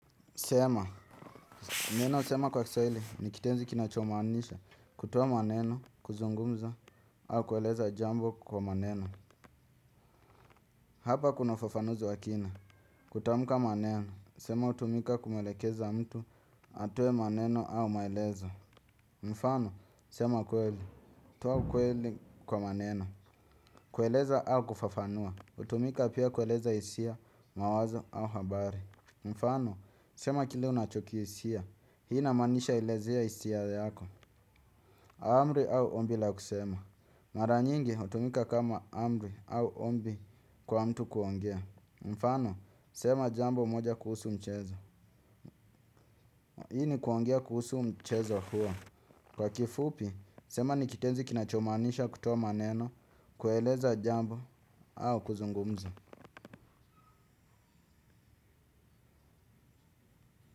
Sema, neno sema kwa kiswahili, ni kitenzi kinachomaanisha, kutoa maneno, kuzungumza, au kueleza jambo kwa maneno. Hapa kuna ufafanuzi wa kina, kutamka maneno, sema hutumika kumwelekeza mtu atoe maneno au maelezo. Mfano, sema kweli, toa kweli kwa maneno, kueleza au kufafanua, hutumika pia kueleza hisia, mawazo au habari. Mfano, sema kile unachokisia, hii inamaanisha elezea hisia yako. Amri au ombi la kusema mara nyingi, hutumika kama amri au ombi kwa mtu kuongea. Mfano, sema jambo moja kuhusu mchezo. Hii ni kuongea kuhusu mchezo huo. Kwa kifupi, sema ni kitenzi kinachomaanisha kutoa maneno, kueleza jambo au kuzungumza.